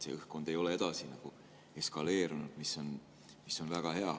Pinge ei ole edasi eskaleerunud, mis on väga hea.